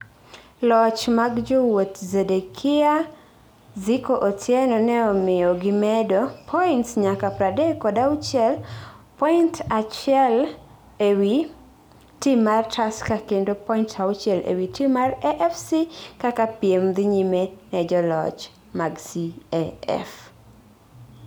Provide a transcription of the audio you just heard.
loch mag jowuot Zedekiah Zico Otieno neomiyo gimedo points nyaka pradek kod auchiel, point achiele wii tim marTusker kendo points auchiel ewi tim mar AFC kaka piem dhinyime nejolch mag CAF